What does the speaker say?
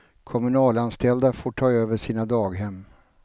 Kommunalanställda får ta över sina daghem.